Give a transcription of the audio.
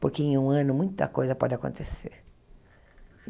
Porque em um ano muita coisa pode acontecer.